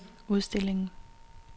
udstillingen